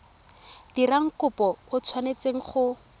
dirang kopo o tshwanetse go